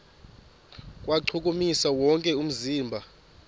kuwuchukumisa wonke umzimba